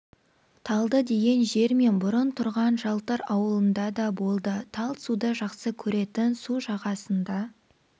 талды деген жер мен бұрын тұрған жалтыр ауылында да болды тал суды жақсы көретін су жағасында